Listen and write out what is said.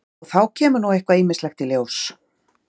Og þá kemur nú eitthvað ýmislegt í ljós?